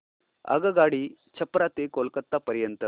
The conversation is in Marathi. आगगाडी छपरा ते कोलकता पर्यंत